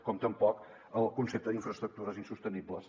com tampoc el concepte d’ infraestructures insostenibles